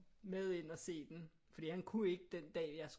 Med ind og se den fordi han kunne ikke den dag jeg